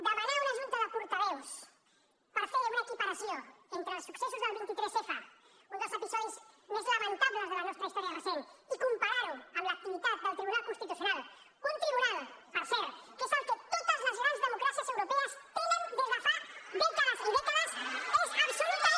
demanar una junta de portaveus per fer una equiparació entre els successos del 23f un dels episodis més lamentables de la nostra història recent i comparar ho amb l’activitat del tribunal constitucional un tribunal per cert que és el que totesdemocràcies europees tenen des de fa dècades i dècades és absolutament